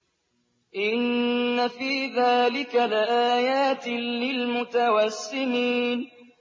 إِنَّ فِي ذَٰلِكَ لَآيَاتٍ لِّلْمُتَوَسِّمِينَ